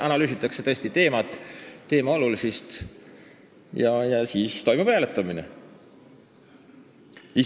Analüüsitakse ikka teemat ja selle olulisust ning siis toimub hääletamine.